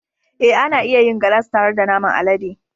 Ee, ana iya yin galas tare da naman alade.